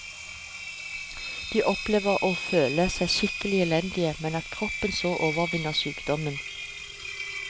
De opplever å føle seg skikkelig elendige, men at kroppen så overvinner sykdommen.